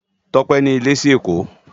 Tope ni ilè si Ekó